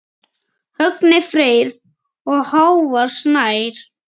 Högni Freyr og Hávar Snær.